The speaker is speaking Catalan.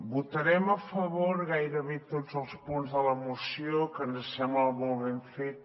votarem a favor de gairebé tots els punts de la moció que ens sembla molt ben feta